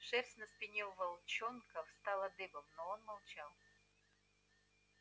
шерсть на спине у волчонка встала дыбом но он молчал